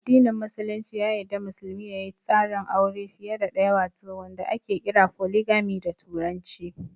Addinin Musulunci ya yarda musulmi ya yi tsarin aure fiye da ɗaya wato wanda ake kira "Foligami" da turanci.